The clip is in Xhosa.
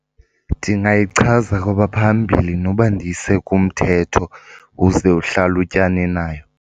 Ndingayichaza kwabaphambili noba ndiyise kumthetho uze uhlalutyane nayo.